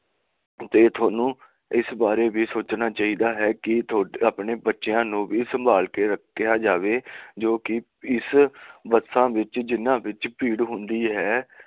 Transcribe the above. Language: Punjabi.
ਤੇ ਥੋਨੂੰ ਈਸ ਬਾਰੇ ਸੋਚਿਆ ਚਾਹੀਦਾ ਹੈ ਕਿ ਆਪਣੇ ਬੱਚਿਆਂ ਨੂੰ ਵੀ ਸੰਭਾਲ ਕੇ ਰੱਖਿਆ ਜਾਵੇ ਜੋ ਕਿ ਇਹਨਾਂ ਬੱਸਾਂ ਵਿੱਚ ਭੀੜ ਹੁੰਦੀ ਹੈ